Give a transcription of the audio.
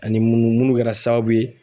Ani mununu munnu kɛra sababu ye.